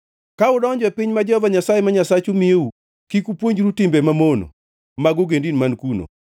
Ka udonjo e piny ma Jehova Nyasaye ma Nyasachu miyou, kik upuonjru timbe mamono mag ogendini man kuno.